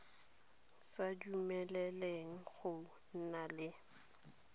sa dumeleleng go nna le